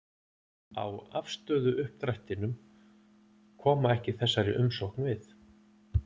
á afstöðuuppdrættinum, koma ekki þessari umsókn við.